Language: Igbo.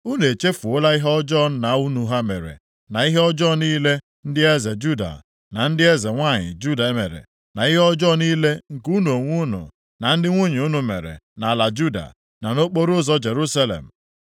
Unu echefuola ihe ọjọọ nna unu ha mere na ihe ọjọọ niile ndị eze Juda na ndị eze nwanyị Juda mere na ihe ọjọọ niile nke unu onwe unu na ndị nwunye unu mekwara nʼala Juda, na nʼokporoụzọ Jerusalem?